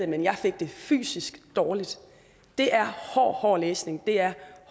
men jeg fik det fysisk dårligt det er hård hård læsning det er